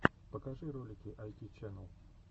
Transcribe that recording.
покажи ролики айти чэнэл